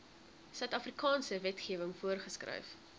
suidafrikaanse wetgewing voorgeskryf